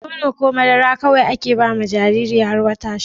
Nono ko madara kawai ake bawa Jariri har wata shida